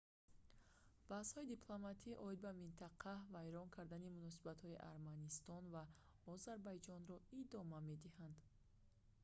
баҳсҳои дипломатӣ оид ба минтақа вайрон кардани муносибатҳои арманистон ва озарбойҷонро идома медиҳанд